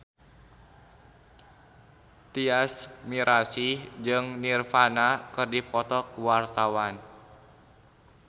Tyas Mirasih jeung Nirvana keur dipoto ku wartawan